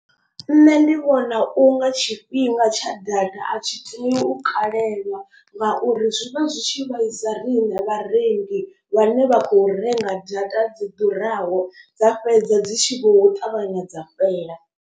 Nṋe ndi vhona u nga tshifhinga tsha data a tshi tea u kalelwa ngauri zwi vha zwi tshi vhaisa riṋe vharengi. Vhane vha khou renga data dzi ḓuraho dza fhedza dzi tshi vho ṱavhanya dza fhela.